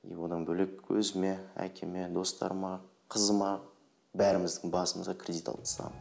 и одан бөлек өзіме әкеме достарыма қызыма бәріміздің басымызға кредит алып тастағанмын